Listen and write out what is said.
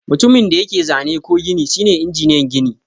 Mutumin da yake zane ko gini shine injiniyan gini.